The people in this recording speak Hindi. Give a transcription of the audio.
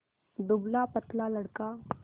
दुबलापतला लड़का